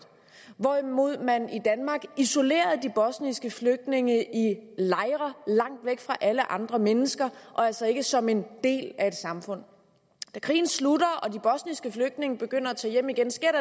hvorimod man i danmark isolerede de bosniske flygtninge i lejre langt væk fra alle andre mennesker og altså ikke som en del af et samfund da krigen slutter og de bosniske flygtninge begynder at tage hjem igen sker